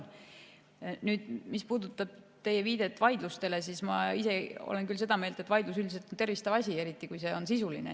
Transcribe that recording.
Nüüd, mis puudutab teie viidet vaidlustele, siis ma ise olen küll seda meelt, et vaidlus on üldiselt tervistav asi, eriti kui see on sisuline.